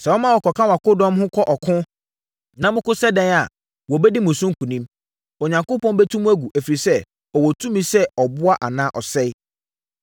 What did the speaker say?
Sɛ woma wɔkɔka wʼakodɔm ho kɔ ɔko, na moko sɛ ɛdeɛn ara a, wɔbɛdi mo so nkonim. Onyankopɔn bɛtu mo agu, ɛfiri sɛ, ɔwɔ tumi sɛ ɔboa anaa ɔsɛe.”